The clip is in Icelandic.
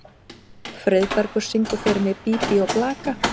Friðbergur, syngdu fyrir mig „Bí bí og blaka“.